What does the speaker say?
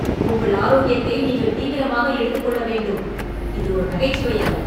உங்கள் ஆரோக்கியத்தை நீங்கள் தீவிரமாக எடுத்துக் கொள்ள வேண்டும், இது ஒரு நகைச்சுவை அல்ல!